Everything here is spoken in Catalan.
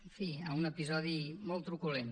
en fi a un episodi molt truculent